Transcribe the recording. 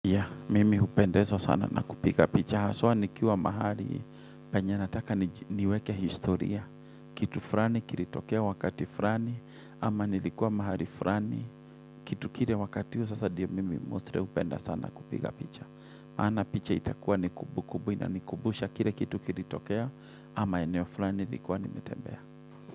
Ya, mimi hupendezwa sana na kupiga picha. Haswa nikiwa mahali, penye nataka niweke historia. Kitu fulani, kilitokea wakati fulani, ama nilikuwa mahali fulani. Kitu kile wakati huu, sasa ndio mimi mostly hupenda sana kupiga picha. Maana picha itakuwa ni kumbu kumbu, inanikumbusha kile kitu kilitokea, ama eneo fulani nilikuwa nimetembea.